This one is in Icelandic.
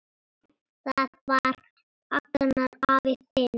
Það var Agnar afi þinn.